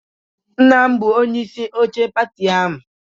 Nna m bụ onyeisi oche pati ahụ